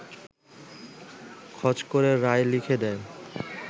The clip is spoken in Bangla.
খচ করে রায় লিখে দেন